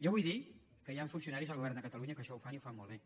jo vull dir que hi han funcionaris al govern de catalunya que això ho fan i ho fan molt bé